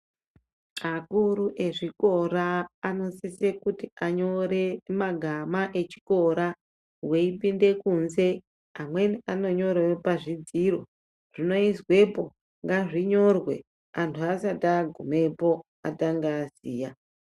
Akuru ezvikora anosise kuti anyore magama echikora weipinde kunze amweni anonyerere pazvidziro, zvinoizwepo ngazvinyorwe anhu asati agumepo atanga aziya.